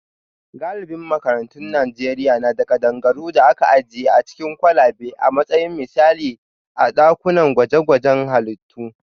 Galibin makarantun Najeriya na da kadangaru da aka ajiye a cikin kwalabe a matsayin misali a dakunan gwaje-gwajen halittu